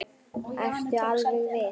Ertu alveg viss?